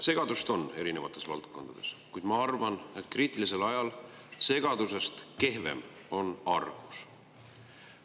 Segadust on erinevates valdkondades, kuid ma arvan, et kriitilisel ajal segadusest kehvem on argus.